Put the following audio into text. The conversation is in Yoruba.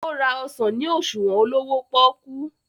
o rà ọsán ní òṣuwọn olówó poku.